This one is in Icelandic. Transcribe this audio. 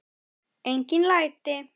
Engin læti.